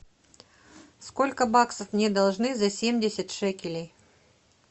сколько баксов мне должны за семьдесят шекелей